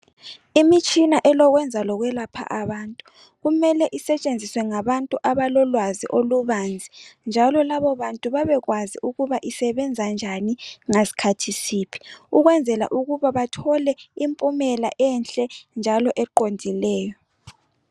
imitshina elokwenza lokwelapha abantu kumele isetshenziswe ngabantu abalolwazi olubanzi njalo labobantu babekwazi ukuba isebenza njani ngasikhathi siphi ukwenzela ukuba bathole impumela enhle njalo eqondileyo